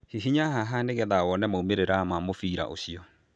Hihinya haha nĩgetha wone maumĩrĩra ma mũbira ũcio